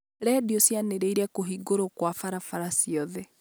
Redio cianĩrĩra kũhingwo Kwa barabara ciothe